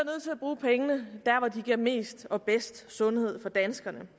at bruge pengene der hvor de giver mest og bedst sundhed for danskerne